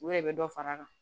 U yɛrɛ bɛ dɔ far'a kan